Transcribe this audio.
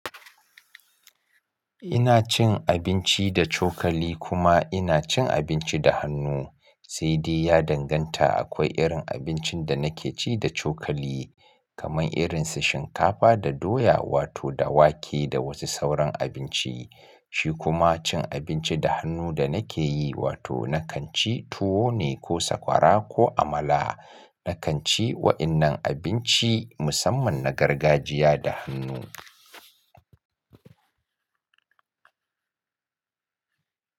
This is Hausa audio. Ina cin abinci da cokali kuma ina cin abinci da hannu. Sai dai ya danganta akwai irin abincin da nake ci da cokali, kamar irin su shinkafa da doya wato da wake da wasu sauran abinci. Shi kuma cin abinci da hannu da nake yi, wato na kan ci tuwo ne ko sakwara ko amala. Na kan ci waɗannan abinci musamman na gargajiya da hannu.